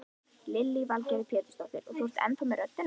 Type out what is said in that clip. Lillý Valgerður Pétursdóttir: Og þú ennþá með röddina?